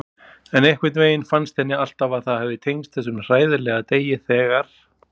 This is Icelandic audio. En einhvern veginn fannst henni alltaf að það hafi tengst þessum hræðilega degi þegar.